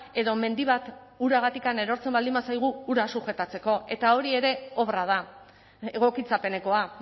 edo mendi bat uragatik erortzen baldin bazaigu hura sujetatzeko eta hori ere obra da egokitzapenekoa